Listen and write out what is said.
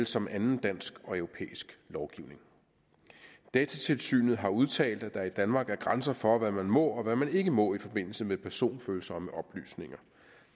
som anden dansk og europæisk lovgivning datatilsynet har udtalt at der i danmark er grænser for hvad man må og hvad man ikke må i forbindelse med personfølsomme oplysninger